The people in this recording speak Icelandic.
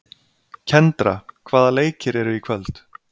Kendra, hvaða leikir eru í kvöld?